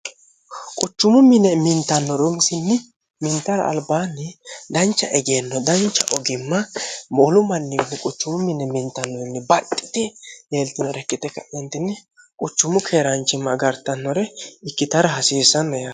quchumu mine mintanno runisinni mintara albaanni dancha egeenno dancha ogimma moolu manninni quchumu mine mintannonni baxxiti leeltinorekkite k'i quchumu keeraanchimma gartannore ikkitara hasiissanno ya